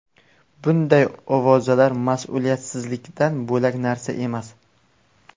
Bunday ovozalar mas’uliyatsizlikdan bo‘lak narsa emas.